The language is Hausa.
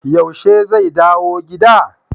Yaushe zai dawo gida?